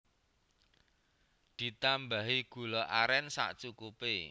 Ditambahi gula aren sacukupe